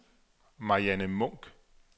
Marianne Munk